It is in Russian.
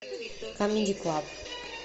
камеди клаб